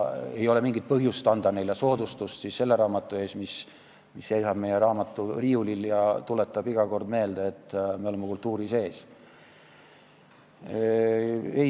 Ei ole mingit põhjust anda neile soodustust selle raamatu ees, mis seisab riiulil ja tuletab iga kord meelde, et me oleme kultuuri sees.